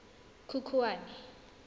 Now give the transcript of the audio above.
khukhwane